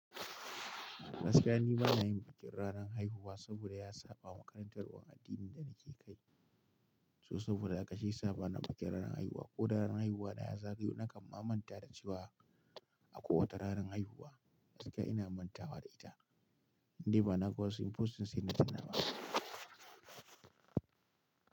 Gaskiya ni bana yin bikin ranar haihuwa saboda ya saba makarantar war addinin da nake kai. So saboda haka shi ya saba na bikin ranar haihuwa ko ranar haihuwa na ya zagayo nakan mamanta da ciwa a kowace ranar haihuwa. Gaskiya ina manta da ita. Ni bana ga wasu in fusun sai na tunawa.